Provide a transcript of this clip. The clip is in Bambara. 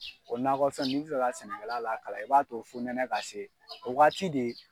O nakɔ fɛn n'i bɛ ka sɛnɛkɛla lakalan i b'a to funɛnɛ ka se o wagati de ye